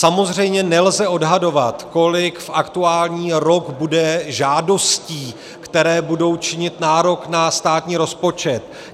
Samozřejmě nelze odhadovat, kolik v aktuální rok bude žádostí, které budou činit nárok na státní rozpočet.